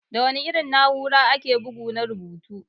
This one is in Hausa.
Da wana irin na'ura ake bugu na rubutu?